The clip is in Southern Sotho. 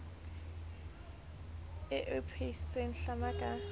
e o phehise hlama ka